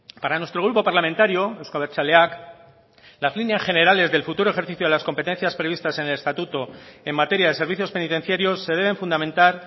para nuestro grupo parlamentario euzko abertzaleak las líneas generales del futuro ejercicio de las competencias previstas en el estatuto en materia de servicios penitenciarios se deben fundamentar